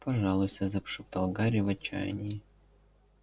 пожалуйста зашептал гарри в отчаянии